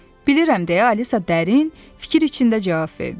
Bilirəm deyə Alisa dərin fikir içində cavab verdi.